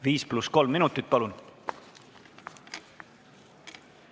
5 + 3 minutit, palun!